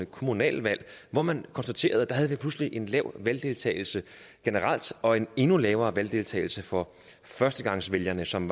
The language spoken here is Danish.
kommunalvalg hvor man konstaterede at vi pludselig havde en lav valgdeltagelse generelt og en endnu lavere valgdeltagelse for førstegangsvælgerne som